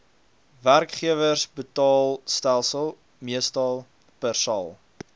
werkgewersbetaalstelsel meestal persal